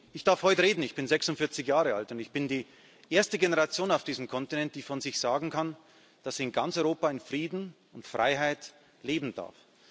Ich darf heute reden, ich bin 46 Jahre alt und ich gehöre zur ersten Generation auf diesem Kontinent, die von sich sagen kann, dass sie in ganz Europa in Frieden und Freiheit leben darf.